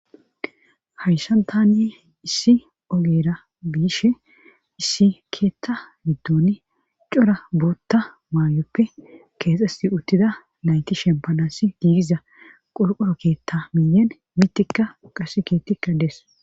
hayssantani issi ogera biishin issi keetta middoni cora bootta maayoppe keexes uttida nayti shempanasi giigiza qolqoro keetta miyen mitikka qasi keettikka dees